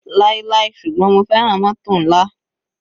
Láíláí ṣùgbọ́n mo fẹ́ràn mótò nla.